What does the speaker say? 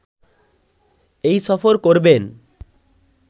এই সফর করবেন